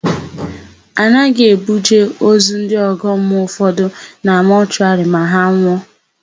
A naghị ebuje ozu ndị ọgọmmụọ ụfọdụ na mọshụwarị ma ha nwụọ.